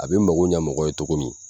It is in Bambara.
A bɛ mago ɲɛ mɔgɔ ye cogo min,